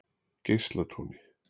Geislatúni